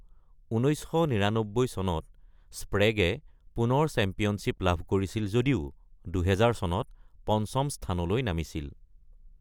১৯৯৯ চনত, স্প্ৰেগে পুনৰ চেম্পিয়নশ্বিপ লাভ কৰিছিল যদিও ২০০০ চনত পঞ্চম স্থানলৈ নামিছিল।